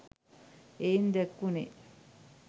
එයින් දැක්වුනේ